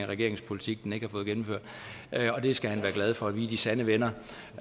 regeringens politik den ikke har fået gennemført det skal han være glad for vi er de sande venner